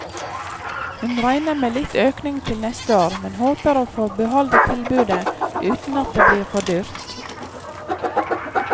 Hun regner med litt økning til neste år, men håper å få beholde tilbudet uten at det blir for dyrt.